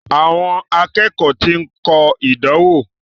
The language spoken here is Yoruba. Àwọn akẹ́kọ̀ọ́ ti ń kọ ìdánwò.